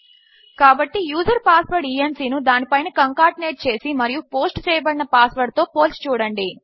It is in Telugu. కాబట్టి యూజర్ పాస్వర్డ్ ఇఎన్సీ ను దాని పైన కంకాటినేట్ చేసి మరియు పోస్ట్ చేయబడిన పాస్ వర్డ్ తో పోల్చి చూడండి